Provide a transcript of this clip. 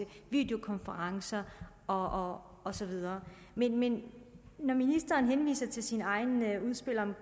videokonferencer og så videre men men når ministeren henviser til sit eget udspil